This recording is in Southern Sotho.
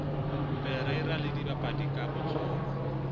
parreira le dibapadi ka botsona